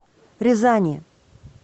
рязани